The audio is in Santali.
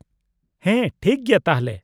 ᱦᱮᱸ, ᱴᱷᱤᱠᱜᱮᱭᱟ ᱛᱟᱦᱞᱮ ᱾